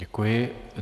Děkuji.